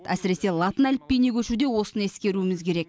әсіресе латын әліпбиіне көшуде осыны ескеруіміз керек